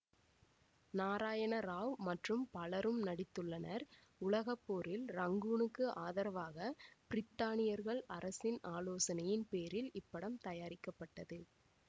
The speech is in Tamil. நாராயண ராவ் மற்றும் பலரும் நடித்துள்ளனர் உலக போரில் ரங்கூனுக்கு ஆதரவாக பிரித்தானியர்கள் அரசின் ஆலோசனையின் பேரில் இப்படம் தயாரிக்கப்பட்டது